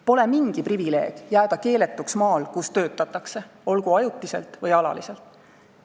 Pole mingi privileeg jääda keeletuks maal, kus töötatakse, olgu ajutiselt või alaliselt.